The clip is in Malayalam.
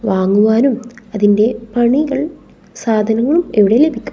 വാങ്ങുവാനും അതിൻറെ പണികൾ സാധനങ്ങളും ഇവിടെ ലഭിക്കും.